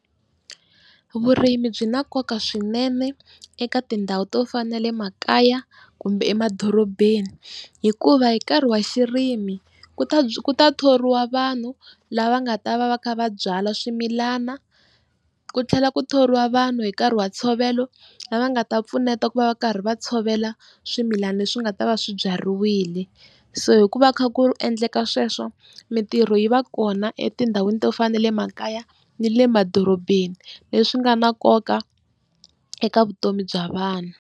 Vurimi byi na nkoka swinene eka tindhawu to fana na le makaya kumbe emadorobeni hikuva hi nkarhi wa xirimi ku ta ku thoriwa vanhu lava nga ta va va kha va byala swimilana, ku tlhela ku thoriwa vanhu hi nkarhi wa ntshovelo lava nga ta pfuneta ku va va karhi va tshovela swimilani leswi nga ta va swibyariwile. So hikuva kha ku endleka sweswo mitirho yi va kona etindhawini to fana na le makaya na le madorobeni leswi nga na nkoka eka vutomi bya vanhu.